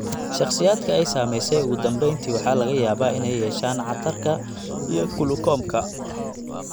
Shakhsiyaadka ay saameysay ugu dambeyntii waxaa laga yaabaa inay yeeshaan cataracka iyo qlucomka